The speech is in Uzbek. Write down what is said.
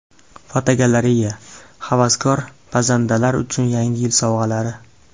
Fotogalereya: Havaskor pazandalar uchun Yangi yil sovg‘alari.